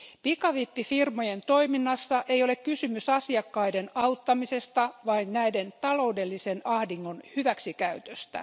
Pikavippifirmojen toiminnassa ei ole kysymys asiakkaiden auttamisesta vaan näiden taloudellisen ahdingon hyväksikäytöstä.